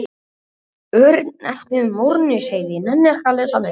Örnefnið Morinsheiði er sérkennilegt og uppruni þess er ekki þekktur.